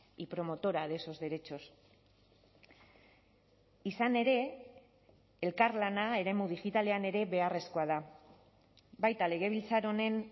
y promotora de esos derechos izan ere elkarlana eremu digitalean ere beharrezkoa da baita legebiltzar honen